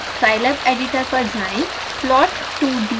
scilab editor पर जाएँ